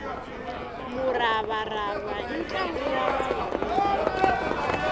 muravarava i ntlangu wa vavanuna